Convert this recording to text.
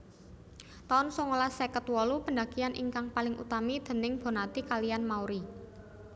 taun songolas seket wolu pendakian ingkang paling utami déning Bonnati kaliyan Mauri